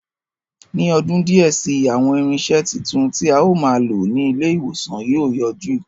Ní ọdún díẹ̀ si, àwọn irinṣẹ́ titun, tí a ó máa lò ní ilé ìwòsàn yóò yọjú